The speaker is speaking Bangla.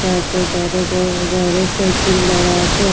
তার যে ধারে ধারে ধারে সাইকেল দাঁড়া আছে।